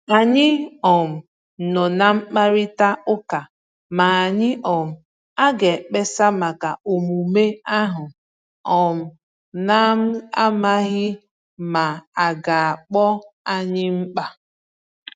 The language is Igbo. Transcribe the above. Ànyị um nọ̀ ná mkpàrịtà ụ́ka ma anyị um aga ekpesa maka omume ahu, um n'amsghi ma aga akpọ anyi mkpa